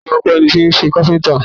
Ta ló má a kọ́ ẹ ní iṣẹ́ káfíntà?